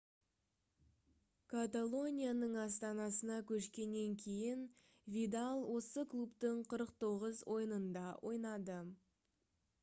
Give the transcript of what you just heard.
каталонияның астанасына көшкеннен кейін видал осы клубтың 49 ойынында ойнады